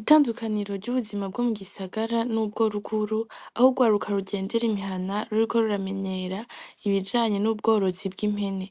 Itandukaniro ry'ubuzima bwo mu gisagara n'ubworuguru aho ugwaruka rugendera imihana ruriko ruramenyera ibijanye n'ubworozi bw'impene